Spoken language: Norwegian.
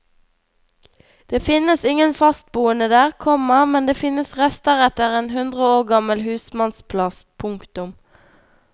Det finnes ingen fastboende der, komma men det finnes rester etter en hundre år gammel husmannsplass. punktum